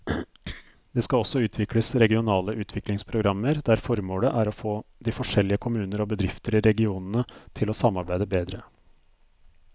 Det skal også utvikles regionale utviklingsprogrammer der formålet er å få de forskjellige kommuner og bedrifter i regionene til å samarbeide bedre.